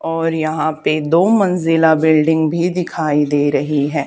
और यहाँ पे दो मंजिला बिल्डिंग भी दिखाई दे रही है।